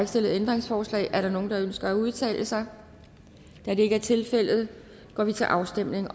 stillet ændringsforslag er der nogen der ønsker at udtale sig da det ikke er tilfældet går vi til afstemning